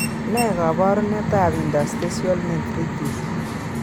Ne kaabarunetap interstitial nephritis?